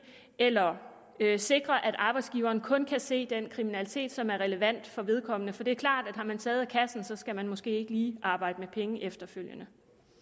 eller sikre at arbejdsgiveren kun kan se den kriminalitet som er relevant for vedkommende for det er klart at har man taget af kassen skal man måske ikke lige arbejde med penge efterfølgende